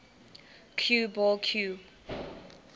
cue ball cue